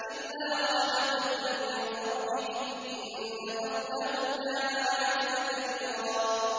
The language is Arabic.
إِلَّا رَحْمَةً مِّن رَّبِّكَ ۚ إِنَّ فَضْلَهُ كَانَ عَلَيْكَ كَبِيرًا